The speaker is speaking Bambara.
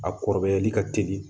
A kɔrɔbayali ka teli